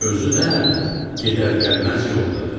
Özü də gedər-gəlməz yoldadır.